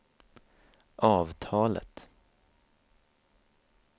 avtalet